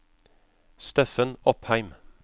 Steffen Opheim